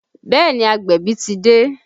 Bẹẹ ni, agbẹ̀bí ti dé